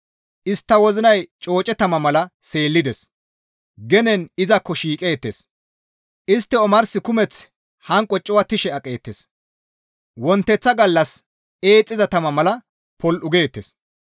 Istta wozinay cooce tama mala seellides; genen izakko shiiqeettes. Istti omarsi kumeththi hanqo cuwattishe aqeettes wonteththa gallas eexxiza tama mala popol7u geettes.